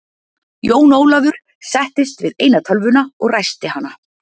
Jón Ólafur settist við eina tölvuna og ræsti hana.